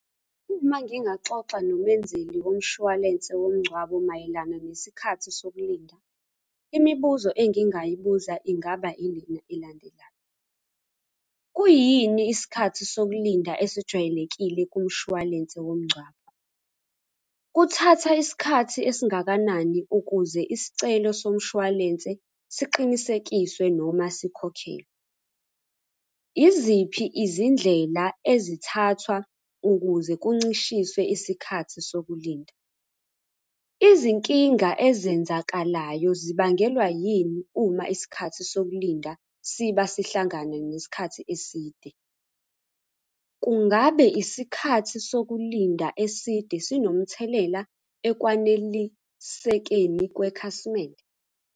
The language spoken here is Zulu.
Uma ngingaxoxa nomenzeli womshwalense womngcwabo mayelana nesikhathi sokulinda, imibuzo engingayibuza ingaba ilena elandelayo. Kuyini isikhathi sokulinda esijwayelekile kumshwalense womngcwabo? Kuthatha isikhathi esingakanani ukuze isicelo somshwalense siqinisekiswe noma sikhokhelwe? Iziphi izindlela ezithathwa ukuze kuncishiswe isikhathi sokulinda? Izinkinga ezenzakalayo zibangelwa yini uma isikhathi sokulinda siba sihlangane nesikhathi eside? Kungabe isikhathi sokulinda eside sinomthelela ekwanelisekeni kwekhasimende?